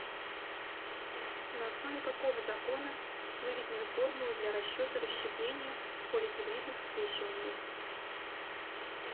на основе какого закона выведены формулы для расчета расщепления в полигибридных скрещиваниях